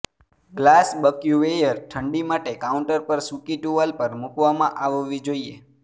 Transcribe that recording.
glass બક્યુવેયર ઠંડી માટે કાઉન્ટર પર સૂકી ટુવાલ પર મૂકવામાં આવવી જોઈએ